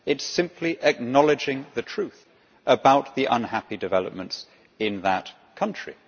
it is simply acknowledging the truth about the unhappy developments in that country.